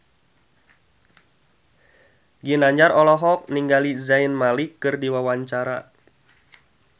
Ginanjar olohok ningali Zayn Malik keur diwawancara